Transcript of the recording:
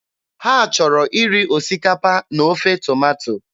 Ha chọrọ iri osikapa na ofe tomato.